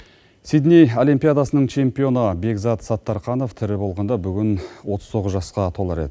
сидней олимпиадасының чемпионы бекзат саттарханов тірі болғанда бүгін отыз тоғыз жасқа толар еді